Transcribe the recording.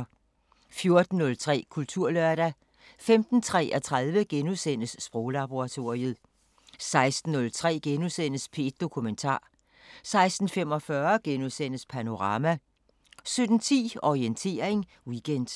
14:03: Kulturlørdag 15:33: Sproglaboratoriet * 16:03: P1 Dokumentar * 16:45: Panorama * 17:10: Orientering Weekend